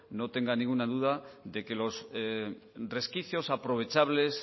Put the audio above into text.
no tenga ninguna duda de que los resquicios aprovechables